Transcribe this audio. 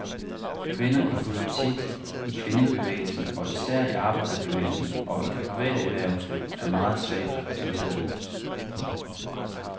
Kvinder i politik, i kvindebevægelsen, og især i arbejderbevægelsen og i det private erhvervsliv, er meget svagt repræsenteret.